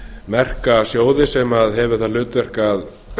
merka sjóði sem hefur það hlutverk að